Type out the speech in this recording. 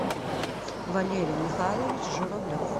валерий михайлович журавлев